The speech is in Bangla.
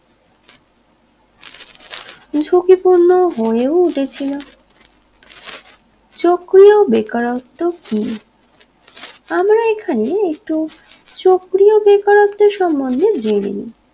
ঝুঁকি পূর্ণ হয়েও গেছিলো চক্রীয় বেকারত্ব কি আমরা এখানে একটু চক্রীয় বেকারত্বের সম্বন্ধে জেনে নিন